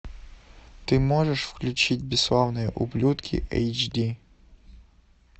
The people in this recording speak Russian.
ты можешь включить бесславные ублюдки эйч ди